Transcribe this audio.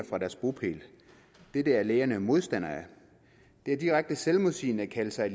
fra deres bopæl dette er lægerne modstandere af det er direkte selvmodsigende at kalde sig